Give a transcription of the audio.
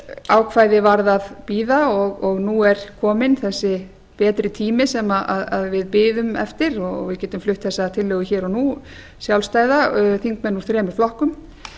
ákvæði varð að bíða og nú er kominn þessi betri tími sem við biðum eftir og við getum flutt þessa tillögu hér og nú sjálfstæða þingmenn úr þremur flokkum